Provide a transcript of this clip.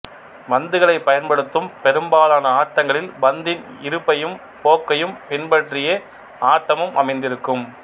பந்துகளை பயன்படுத்தும் பெரும்பாலான ஆட்டங்களில் பந்தின் இருப்பையும் போக்கையும் பின்பற்றியே ஆட்டமும் அமைந்திருக்கும்